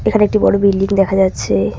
এখানে একটি বড়ো বিল্ডিং দেখা যাচ্ছে।